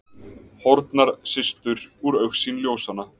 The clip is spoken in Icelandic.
Horfnar systur úr augsýn ljósanna.